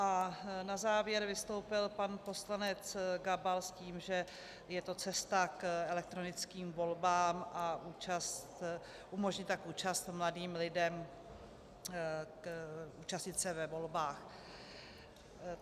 A na závěr vystoupil pan poslanec Gabal s tím, že je to cesta k elektronickým volbám a umožní tak účast mladým lidem účastnit se ve volbách.